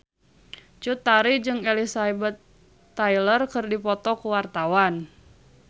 Cut Tari jeung Elizabeth Taylor keur dipoto ku wartawan